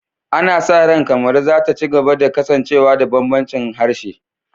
Ana sa ran Kamaru za ta ci gaba da kasancewa da bambancin harshe